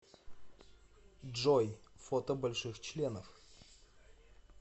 джой фото больших членов